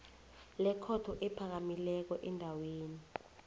lekhotho ephakamileko endaweni